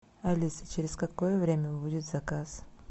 алиса через какое время будет заказ